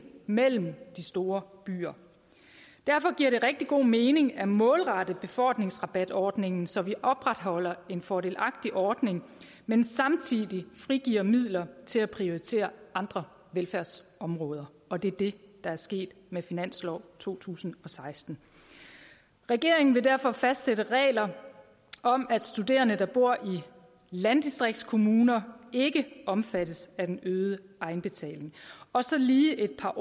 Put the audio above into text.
mellem de store byer derfor giver det rigtig god mening at målrette befordringsrabatordningen så vi opretholder en fordelagtig ordning men samtidig frigiver midler til at prioritere andre velfærdsområder og det er det der er sket med finanslov to tusind og seksten regeringen vil derfor fastsætte regler om at studerende der bor i landdistriktskommuner ikke omfattes af den øgede egenbetaling og så lige et par